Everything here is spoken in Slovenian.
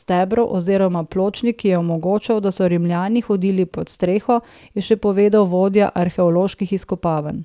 stebrov oziroma pločnik, ki je omogočal, da so Rimljani hodili pod streho, je še povedal vodja arheoloških izkopavaj.